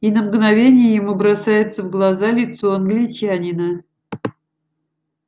и на мгновение ему бросается в глаза лицо англичанина